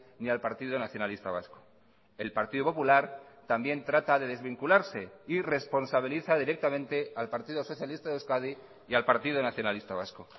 ni al partido nacionalista vasco el partido popular también trata de desvincularse y responsabiliza directamente al partido socialista de euskadi y al partido nacionalista vasco